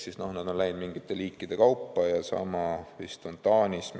Seega nad on läinud edasi mingite liikide kaupa ja sama vist on Taanis.